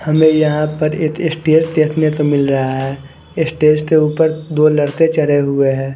हमें यहा पर एक स्टेज देखने को मिल रहा है स्टेज के उपर दो लड़के चड़े हुए है ।